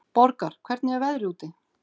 Borgar, hvernig er veðrið úti?